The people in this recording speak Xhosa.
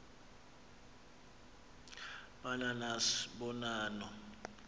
ba nanas bonanno